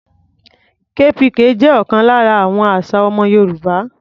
KPK jẹ́ ọ̀kan lára àwọn àṣà ọmọ Yorùbá.